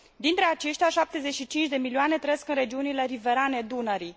Dintre aceștia, 75 de milioane trăiesc în regiunile riverane Dunării.